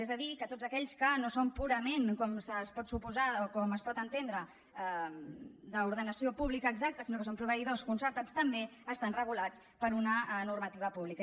és a dir que tots aquells que no són purament com es pot suposar o com es pot entendre d’ordenació pública exacta sinó que són proveïdors concertats també estan regulats per una normativa pública